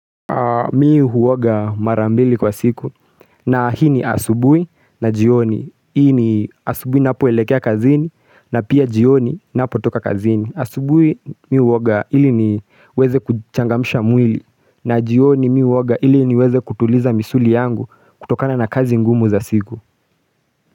Mimi huoga marambili kwa siku na hii ni asubuhi na jioni. Hii ni asubuhi ninapoelekea kazini na pia jioni ninapotoka kazini. Asubuji mimi huoga ili niweze kuchangamisha mwili na jioni mimi huoga ili niweze kutuliza misuli yangu kutokana na kazi ngumu za siku.